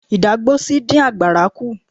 Ìdágbósí dín àgbàrá kú.